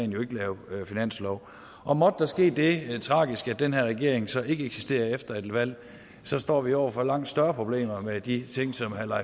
jo ikke lave finanslov og måtte der ske det tragiske at den her regering så ikke eksisterer efter et valg så står vi over for langt større problemer med de ting som herre